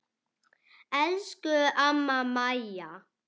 Elsku amma Mæja.